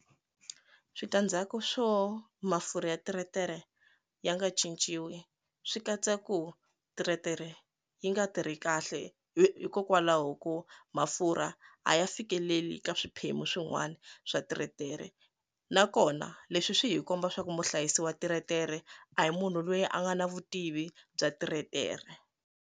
Sitandzhaku swo mafurha ya teretere ya nga cinciwi swi katsa ku teretere yi nga tirhi kahle hikokwalaho ko mafurha a ya fikeleli ka swiphemu swin'wana swa tiretere nakona leswi swi hi komba swa ku muhlayisi wa teretere a hi munhu loyi a nga na vutivi bya tiretere.